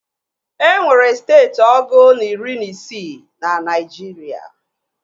E nwere steeti ọgụ na iri na isii na Naịjirịa